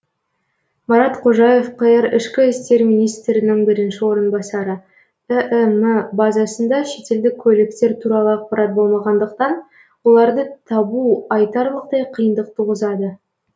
марат қожаев қр ішкі істер министрінің бірінші орынбасары іім базасында шетелдік көліктер туралы ақпарат болмағандықтан оларды табу айтарлықтай қиындық туғызады